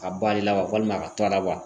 A ba de la walima a ka to a la wa